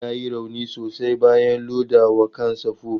Luka ya yi rauni sosai bayan ya loda wa kansa fufu.